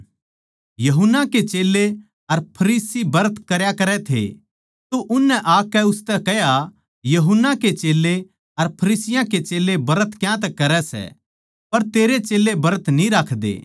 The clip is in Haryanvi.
यूहन्ना के चेल्लें अर फरीसी ब्रत करया करै थे तो उननै आकै उसतै कह्या यूहन्ना के चेल्लें अर फरीसियाँ के चेल्लें ब्रत क्यांतै करै सै पर तेरे चेल्लें ब्रत न्ही राखदे